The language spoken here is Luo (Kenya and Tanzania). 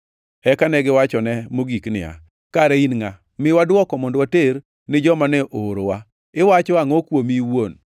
Eka negiwachone mogik niya, “Kare, in ngʼa? Miwa dwoko mondo water ni joma ne oorowa. Iwacho angʼo kuomi in iwuon?”